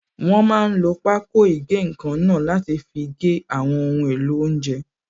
Wọ́n máa n lo pákó ìgé-nǹkan náà láti fi gé àwọn ohun èlò oúnjẹ